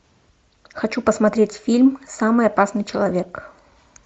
хочу посмотреть фильм самый опасный человек